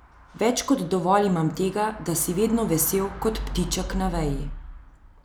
Več kot dovolj imam tega, da si vedno vesel kot ptiček na veji.